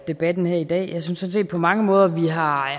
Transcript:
debatten her i dag jeg synes sådan set på mange måder at vi har